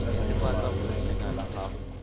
netefatsa gore leina la gago